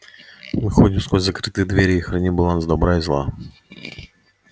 мы ходим сквозь закрытые двери и храним баланс добра и зла